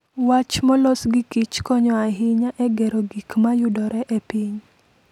Wach molos gi Kich konyo ahinya e gero gik ma yudore e piny.